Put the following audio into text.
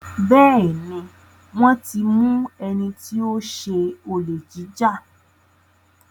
Béèni wón tí mú wón tí mú ẹní tí o ṣe Olè jíjà.